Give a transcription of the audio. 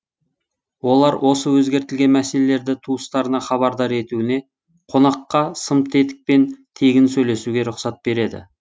олар осы өзгертілген мәселелерді туыстарына хабардар етуіне қонаққа сымтетікпен тегін сөйлесуге рұқсат береді